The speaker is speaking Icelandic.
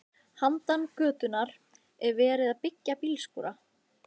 Handan götunnar er verið að byggja bílskúra.